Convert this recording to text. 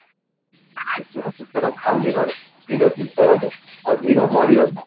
ସେଦିନ ସେଥିରେ ଖାଲି ମାଡ hero ଯଦି ପଳେଈ ଆସେ ଆଉ hero ମରିବନି